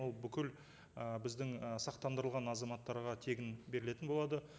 ол бүкіл ы біздің ы сақтандырылған азаматтарға тегін берілетін болады